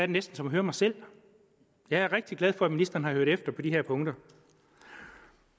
næsten som at høre mig selv jeg er rigtig glad for at ministeren har hørt efter på de her punkter